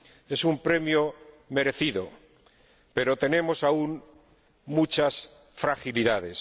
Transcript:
es un premio merecido, pero tenemos aún muchas fragilidades.